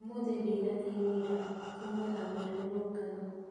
ũmũthĩ ndinathiĩ wĩra kuma na mĩrũrũngano